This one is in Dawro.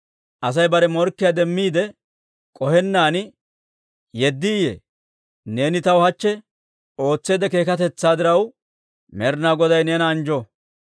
Asay bare morkkiyaa demmiide k'ohennaan yeddiiyye? Neeni taw hachche ootseedda keekatetsaa diraw, Med'inaa Goday neena anjjo.